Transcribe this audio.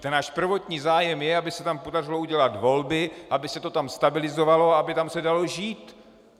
Ten náš prvotní zájem je, aby se tam podařilo udělat volby, aby se to tam stabilizovalo, aby se tam dalo žít.